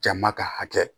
Jama ka hakɛ